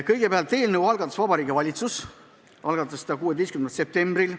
Kõigepealt, eelnõu algatas Vabariigi Valitsus tänavu 16. septembril.